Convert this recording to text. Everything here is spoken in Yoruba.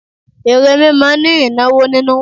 Ère mímọ ni ìnáwó nínú.